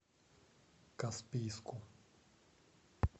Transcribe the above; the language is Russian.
каспийску